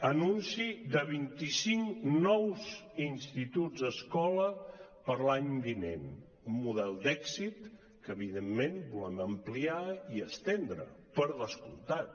anunci de vint i cinc nous instituts escola per a l’any vinent un model d’èxit que evidentment volem ampliar i estendre per descomptat